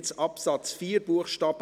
Jetzt, zu Absatz 4 Buchstabe